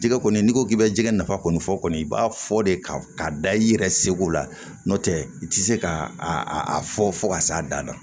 Jɛgɛ kɔni n'i ko k'i bɛ jɛgɛ nafa kɔni fɔ kɔni i b'a fɔ de ka da i yɛrɛ seko la n'o tɛ i tɛ se k'a a a a fɔ fo ka s'a na